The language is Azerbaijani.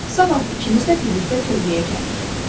Sabah ikiniz də birlikdə tövləyə gəlin.”